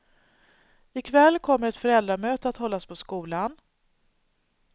I kväll kommer ett föräldramöte att hållas på skolan.